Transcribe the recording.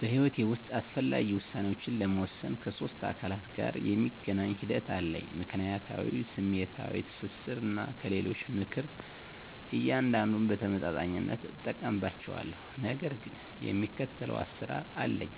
በሕይወቴ ውስጥ አስፈላጊ ውሳኔዎችን ለመወሰን ከሶስት አካላት ጋር የሚገናኝ ሂደት አለኝ፦ ምክንያታዊነት፣ ስሜታዊ ትስስር፣ እና ከሌሎች ምክር። እያንዳንዱን በተመጣጣኝነት እጠቀምባቸዋለሁ፣ ነገር ግን የሚከተለው አሰራር አለኝ።